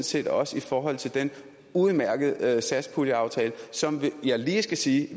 set også i forhold til den udmærkede satspuljeaftale som jeg lige skal sige